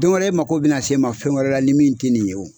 Don wɛrɛ e mako be na se n ma fɛn wɛrɛ la ni min te nin ye wo.